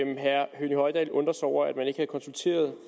herre høgni hoydal undrer sig over at man ikke havde konsulteret